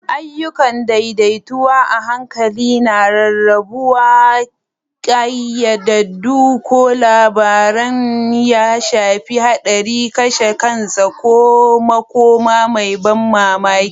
Ayyukan daidaitawa a hankali na rarrabuwa, ƙayyadaddun ko labarin ya shafi haɗari, kashe kansa, ko makoma mai ban mamaki.